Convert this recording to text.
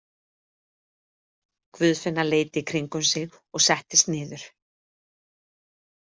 Guðfinna leit í kringum sig og settist niður.